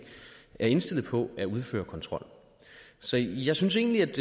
er indstillet på at udføre kontrol så jeg synes egentlig at